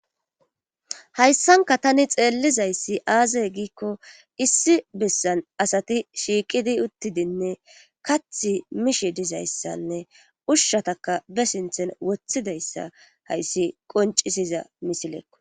Hayssanka tani xeellizayssi aazey giikko issi bessan asati shiiqidi uttidinne kath mishi dizayssanne ushshataka be sinthen woththidayssa hayssi qoncisiza misileekko.